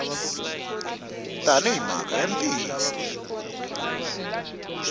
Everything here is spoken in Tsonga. tani hi mhaka ya ntiyiso